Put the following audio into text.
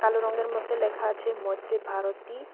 কালো রঙ্গের মধ্যে লেখা আছে মৈত্রী ভারতী।